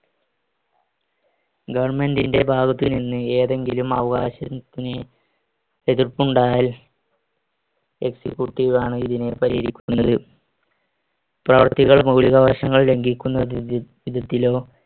government ന്‍റെ ഭാഗത്തുനിന്ന് ഏതെങ്കിലും അവകാശത്തിന് എതിർപ്പുണ്ടായാൽ executive ആണ് ഇതിനെ പരിഹരിക്കുന്നത്. പ്രവർത്തികൾ മൗലികാവകാശങ്ങൾ ലംഘിക്കുന്ന ധിധ~ വിധത്തിലോ